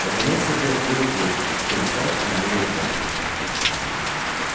наконец то приоткрылась дверь и комиссар поманил его пальцем